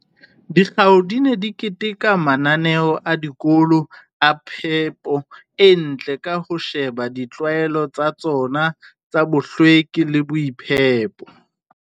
Dikgao di ne di keteka mananeo a dikolo a phepo e ntle ka ho sheba ditlwaelo tsa tsona tsa bohlweki le boitshire